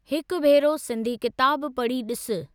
हिकु भेरो सिंधी किताबु पढ़ी ॾिसु।